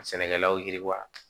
Sɛnɛkɛlaw yiriwa